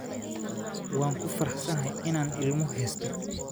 Waan ku faraxsanahay inaan ilmo haysto